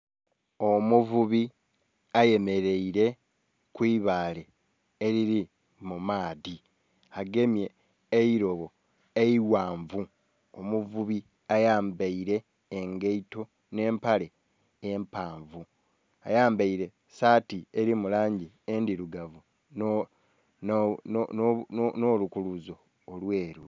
Omuvubi ayemereire kwiibale eriri mumadhi agemye eirobo eigha nvu. Omuvubi ayambere egeito nhempale empanvu, ayambere sati eri mulangi edirugavu nho lukulubuzo olweru